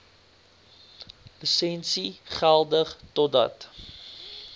lisensie geldig totdat